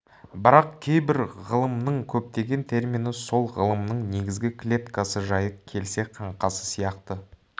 бірақ кейбір ғылымның көптеген термині сол ғылымның негізгі клеткасы жайы келсе қаңқасы сияқты